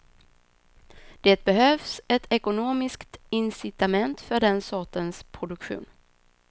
Det behövs ett ekonomiskt incitament för den sortens produktion.